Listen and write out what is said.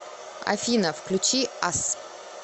афина включи ас